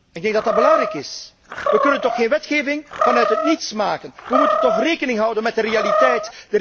Ik denk dat dat belangrijk is. We kunnen toch geen wetgeving vanuit het niets maken. We moeten toch rekening houden met de realiteit.